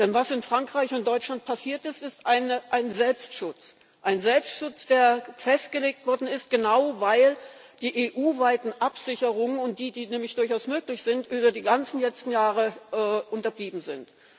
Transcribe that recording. Denn was in Frankreich und Deutschland passiert ist, ist ein Selbstschutz ein Selbstschutz, der festgelegt worden ist, genau weil die EU weiten Absicherungen, die nämlich durchaus möglich sind, über die ganzen letzten Jahre unterblieben sind.